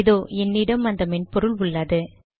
இதோ என்னிடம் அந்த மென்பொருள் உள்ளது